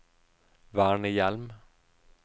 vernehjem